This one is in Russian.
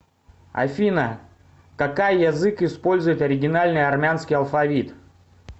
афина какай язык использует оригинальный армянский алфавит